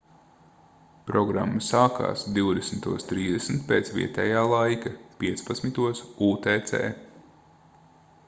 programma sākās 20:30 pēc vietējā laika 15:00 utc